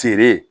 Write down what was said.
Feere